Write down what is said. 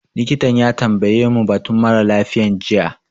Likitan ya tambaye mu batun mara lafiyan jiya